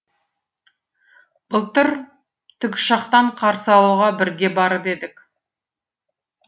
былтыр тікұшақтан қарсы алуға бірге барып едік